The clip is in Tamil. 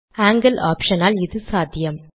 ஆங்கில் ஆப்ஷன் ஆல் இது சாத்தியம்